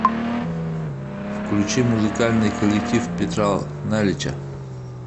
включи музыкальный коллектив петра налича